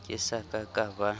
ke sa ka ka ba